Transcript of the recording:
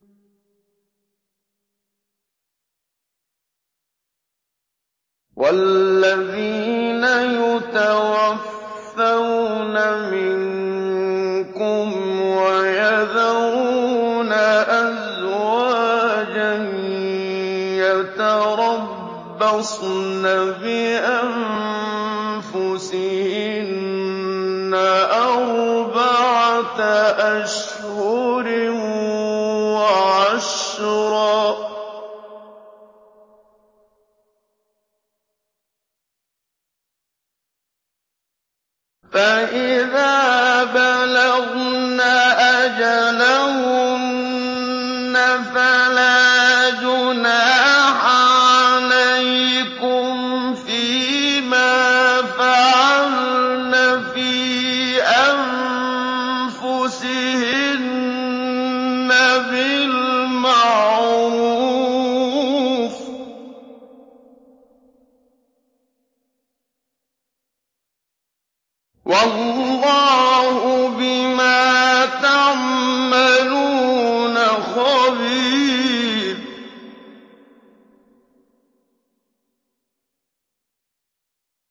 وَالَّذِينَ يُتَوَفَّوْنَ مِنكُمْ وَيَذَرُونَ أَزْوَاجًا يَتَرَبَّصْنَ بِأَنفُسِهِنَّ أَرْبَعَةَ أَشْهُرٍ وَعَشْرًا ۖ فَإِذَا بَلَغْنَ أَجَلَهُنَّ فَلَا جُنَاحَ عَلَيْكُمْ فِيمَا فَعَلْنَ فِي أَنفُسِهِنَّ بِالْمَعْرُوفِ ۗ وَاللَّهُ بِمَا تَعْمَلُونَ خَبِيرٌ